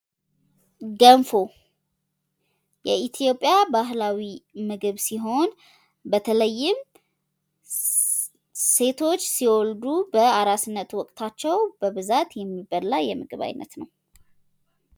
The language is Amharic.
ገንፎ የኢትዮጵያ ባህላዊ ምግብ ሲሆን በተለይም ሴቶች ሲወልዱ በአራስነት ወቅታቸው በብዛት የሚበላ የምግብ አይነት ነው።